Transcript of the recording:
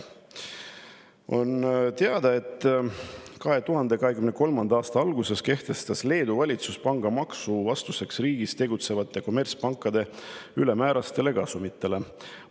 On teada, et 2023. aasta alguses kehtestas Leedu valitsus vastuseks riigis tegutsevate kommertspankade ülemäärastele kasumitele pangamaksu.